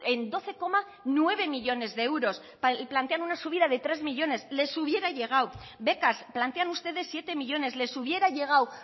en doce coma nueve millónes de euros plantean una subida de tres millónes les hubiera llegado becas plantean ustedes siete millónes les hubiera llegado